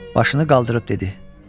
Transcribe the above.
Başını qaldırıb dedi.